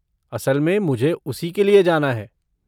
असल में मुझे उसी के लिए जाना है।